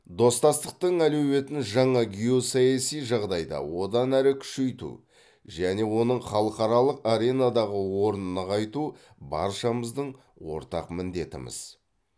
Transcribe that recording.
достастықтың әлеуетін жаңа геосаяси жағдайда одан әрі күшейту және оның халықаралық аренадағы орнын нығайту баршамыздың ортақ міндетіміз